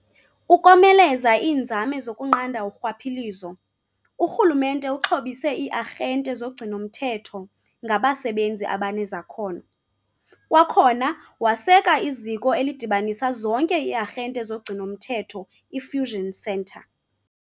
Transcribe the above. Ukomeleza iinzame zokunqanda urhwaphilizo, uRhulumente uxhobise ii-arhente zogcino-mthetho ngabasebenzi abanezakhono, kwakhona waseka iZiko elidibanisa zonke ii-arhante zogcino-mthetho i-Fusion Centre .